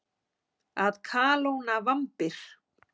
Að kalóna vambir.